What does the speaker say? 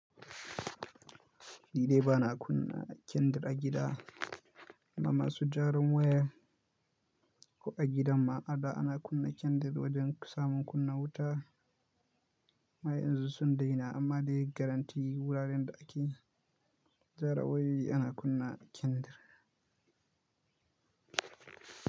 Ni dai bana kunna kyandir a gida, amma su jaran waya ko a gidan ma ada ana kunna kyandir wajen samun kunna wuta. Amma yanzu sun daina amma dai garantii wuraren da ake gyarawayoyi ana kunna kyandir.